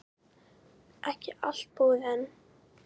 Ekki allt búið enn.